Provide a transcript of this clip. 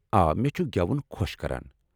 آ، مےٚ چُھن گٮ۪وُن خو٘ش كران ۔